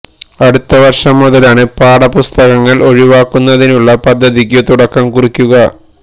അടുത്ത വര്ഷം മുതലാണ് പാഠ പുസ്തകങ്ങള് ഒഴിവാക്കുന്നതിനുള്ള പദ്ധതിക്കു തുടക്കം കുറിക്കുക